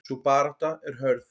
Sú barátta er hörð.